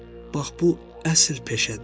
Bax bu əsl peşədir.